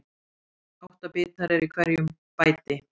Átta bitar eru í hverju bæti.